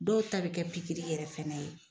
Dɔw ta bɛ kɛ pikiri yɛrɛ fɛnɛ ye.